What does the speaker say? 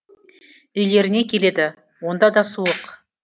үйлеріне келеді онда да суық